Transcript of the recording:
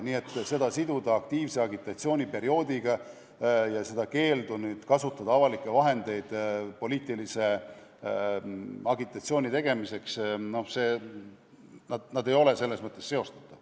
Nii et siduda see aktiivse agitatsiooni perioodiga ja keeluga kasutada avalikke vahendeid poliitilise agitatsiooni tegemiseks – no need ei ole selles mõttes seostatavad.